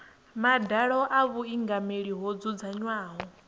madalo a vhuingameli ho dzudzanywaho